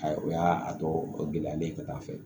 Ayi o y'a tɔ gɛlɛyalen ye ka taa fɛ